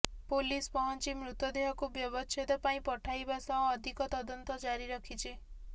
police ପହଞ୍ଚି ମୃତଦେହକୁ ବ୍ୟବଚ୍ଛେଦ ପାଇଁ ପଠାଇବା ସହ ଅଧିକ ତଦନ୍ତ ଜାରି ରଖିଛି